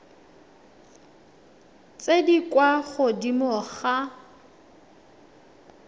tse di kwa godimo ga